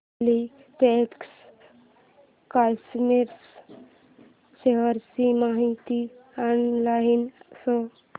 Polyplex corporation च्या shares ची माहिती ऑनलाइन शोध